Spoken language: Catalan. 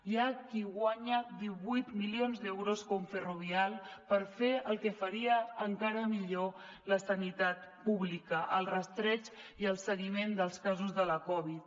hi ha qui guanya divuit milions d’euros com ferrovial per fer el que faria encara millor la sanitat pública el rastreig i el seguiment dels casos de la covid